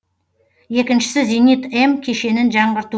екіншісі зенит м кешенін жаңғырту